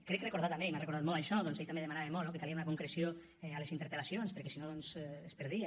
crec recordar també i m’ha recordat molt això doncs que ell també demanava molt no que calia una concreció a les interpel·lacions perquè si no es perdia